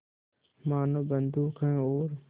मानो बंदूक है और